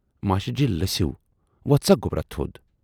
master ji لٔسِو وۅتھ سا گوبرا تھود